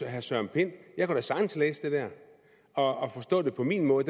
herre søren pind jeg kunne da sagtens læse det der og forstå det på min måde